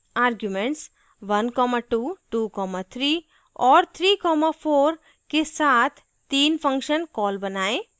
arguments 12 23 और 34 के साथ 3 function calls बनाएँ